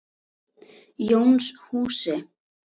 Jónshúsi